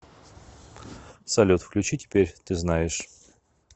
салют включи теперь ты знаешь